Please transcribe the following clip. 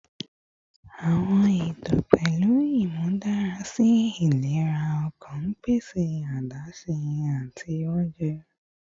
Awọn eto pẹlu imudarasi ilera ọkan nipasẹ adaṣe ati ounjẹ